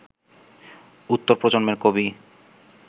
উত্তর প্রজন্মের কবি